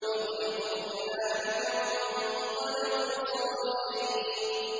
فَغُلِبُوا هُنَالِكَ وَانقَلَبُوا صَاغِرِينَ